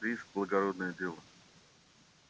риск благородное дело